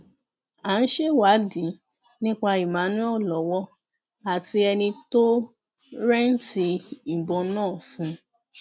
à ń ṣèwádìí nípa emmanuel lọwọ àti ẹni tó rẹǹtì ìbọn náà fún